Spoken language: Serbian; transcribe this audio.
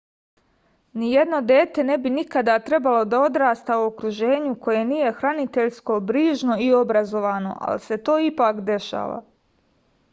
nijedno dete ne bi nikada trebalo da odrasta u okruženju koje nije hraniteljsko brižno i obrazovno ali se to ipak dešava